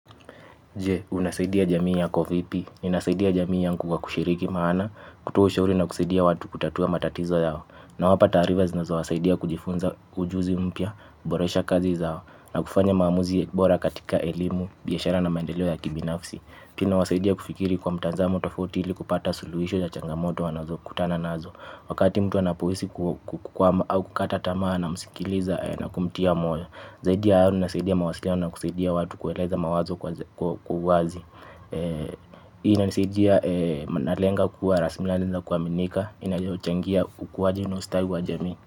Jee, unasaidia jamii ya vipi? Ninasaidia jamii yangu kwa kushiriki maana, kutoa ushauri na kusaidia watu kutatua matatizo yao. Nawapa taarifa zinazo wasaidia kujifunza ujuzi mpya, kuboresha kazi zao na kufanya maamuzi bora katika elimu, biashara na maendeleo yaki binafsi. Hii ina wasaidia kufikiri kwa mtazamo tofauti ili kupata suluhisho ya changamoto wanazo kutana nazo. Wakati mtu anapohisi kukwama, au kukatamaa na musikiliza na kumtia moyo. Zaidia hayo ninasaidia mawasilino na kusaidia watu kueleza mawazo kwa uwazi. Hii ina nasaidia nalenga kuwa rasilimali na kuwaminika. Inayochangia ukuwaji na ustawi wa jamii.